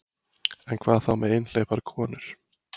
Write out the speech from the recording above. En hvað þá með einhleypar konur?